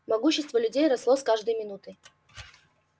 могущество людей росло с каждой минутой